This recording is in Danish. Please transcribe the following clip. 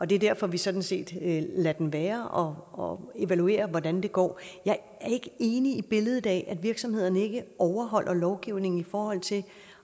det er derfor at vi sådan set lader den være og og evaluerer hvordan det går jeg er ikke enig i billedet af at virksomhederne ikke overholder lovgivningen i forhold til